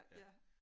Ja